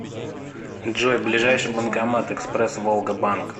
джой ближайший банкомат экспресс волга банк